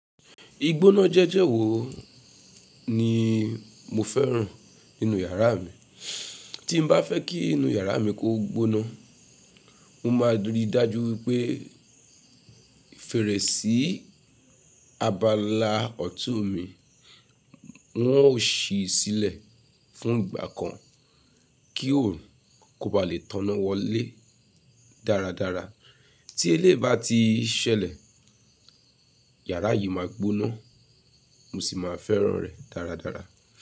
Igbóná jẹ́jẹ́ wo ni mo fẹ́ràn nínú yàrá mi. Tí n bá fẹ́ kí inú yàrá mi gbóná mo máa ń rí dájú pé fèrèsé abala ọ̀tún mi wọ́n ó ṣí sílẹ̀ fún ìgbà kan kí òun kó bá lè tọ́ná wọlé dáradára. Tí elé bá ti ṣẹlẹ̀, yàrá yìí máa gbóná, mo sì máa fẹ́ràn rẹ̀ dáradára.